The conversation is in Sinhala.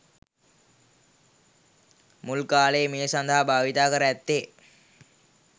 මුල් කාලයේ මේ සඳහා භාවිතා කර ඇත්තේ